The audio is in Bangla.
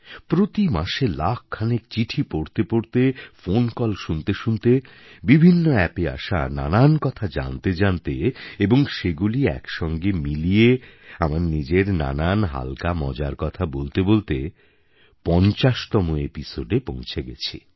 প্রতি মাসে লাখ খানেক চিঠি পড়তে পড়তে ফোন কল শুনতে শুনতে বিভিন্ন অ্যাপে আসা নানান কথা জানতে জানতে এবং সেগুলি এক সঙ্গে মিলিয়ে আমার নিজের নানান হাল্কা মজার কথা বলতে বলতে ৫০তম এপিসোডে পৌঁছে গেছি